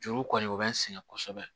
Juru kɔni u bɛ n sɛgɛn kosɛbɛ